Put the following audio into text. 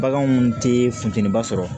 Baganw tɛ funteniba sɔrɔ